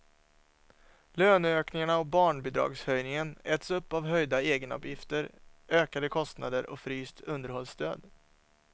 Löneökningarna och barnbidragshöjningen äts upp av höjda egenavgifter, ökade kostnader och fryst underhållsstöd.